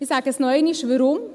Ich sage noch einmal warum: